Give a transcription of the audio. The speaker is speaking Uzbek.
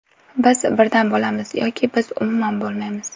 Biz birdam bo‘lamiz, yoki biz umuman bo‘lmaymiz.